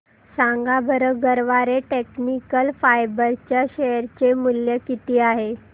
सांगा बरं Garware technical fibres च्या शेअर चे मूल्य किती आहे